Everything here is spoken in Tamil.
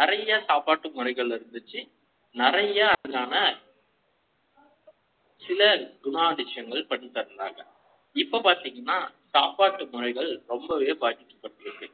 நிறைய சாப்பாட்டு முறைகள் இருந்துச்சு. நிறைய அதனான சில குணாதிசய ங்கள் பண்ணிட்டு இருந்தாங்க. இப்ப பாத்திமா சாப்பாட்டு முறைகள் ரொம்பவே பாதிக்கப்பட்டது